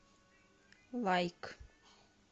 лайк